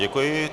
Děkuji.